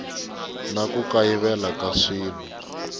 na ku kayivela ka swilo